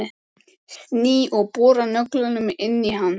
Sný og bora nöglunum inn í hann.